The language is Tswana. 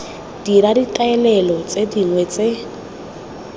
dira ditaolelo tse dingwe tse